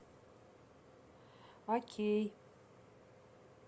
окей